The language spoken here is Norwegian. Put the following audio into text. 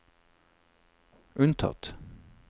unntatt